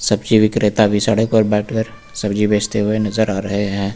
सब्जी विक्रेता भी सड़क पर बैठकर सब्जी बेचते हुए नजर आ रहे हैं।